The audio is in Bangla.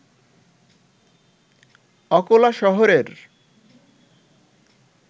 অকোলা শহরের